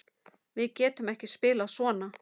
Við getum ekki spilað svona.